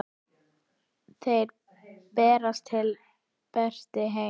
Þeir berast til betri heima.